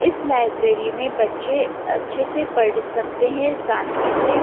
इस लाइब्रेरी में बच्चे अच्छे से पढ़ सकते है शांति से--